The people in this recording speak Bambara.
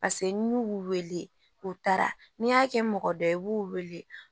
paseke n'u y'u wele u taara n'i y'a kɛ mɔgɔ dɔ ye i b'u wele